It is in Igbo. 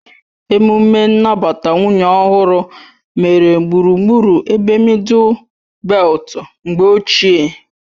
Emume nnabata nwunye ọhụrụ mere gburugburu ebe mịdul beltu mgbe ochie